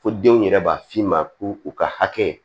Fo denw yɛrɛ b'a f'i ma ko u ka hakɛ